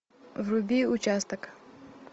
вруби участок